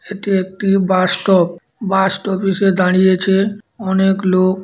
এটি একটি bus stop. Bus stop -এ সে দাঁড়িয়েছে। অনেক লোক।